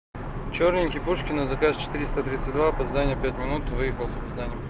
чёрненький пушкина заказ четыреста тридцать два опоздание пять минут выехал с опозданием